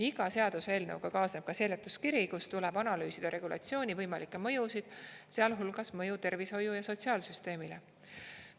Iga seaduseelnõuga kaasneb ka seletuskiri, kus tuleb analüüsida regulatsiooni võimalikke mõjusid, sealhulgas mõju tervishoiu- ja sotsiaalsüsteemile.